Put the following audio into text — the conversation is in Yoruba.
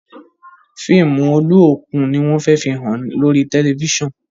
fíìmù Oluokun ní wón fè fihàn lórí tẹlifísàn.